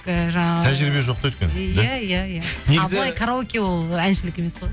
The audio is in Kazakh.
і тәжірибе жоқ та өйткені иә иә иә ал былай караоке ол әншілік емес қой